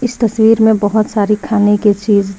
इस तस्वीर में बहोत सारी खान की चीज--